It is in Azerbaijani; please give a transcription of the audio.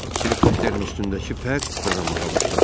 Helikopterin üstündəki pər fırlanmağa başladı.